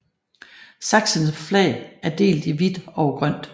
Sachsens flag er delt i hvidt over grønt